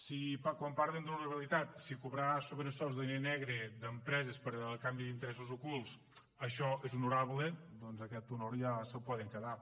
si quan parlen d’honorabilitat si cobrar sobresous de diner negre d’empreses a canvi d’interessos ocults això és honorable doncs aquest honor ja se’l poden quedar